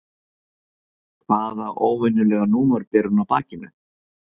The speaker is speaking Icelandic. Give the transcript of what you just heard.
Hvaða óvenjulega númer ber hún á bakinu?